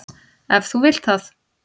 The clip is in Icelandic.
Ef þú vilt það.